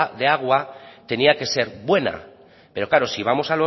de agua tenía que ser buena pero claro si vamos